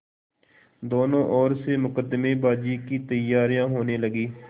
दोनों ओर से मुकदमेबाजी की तैयारियॉँ होने लगीं